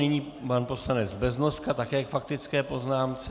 Nyní pan poslanec Beznoska také k faktické poznámce.